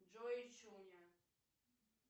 джой и чуня